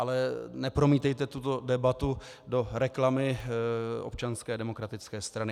Ale nepromítejte tuto debatu do reklamy Občanské demokratické strany.